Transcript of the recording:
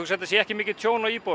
þetta sé ekki mikið tjón á íbúðunum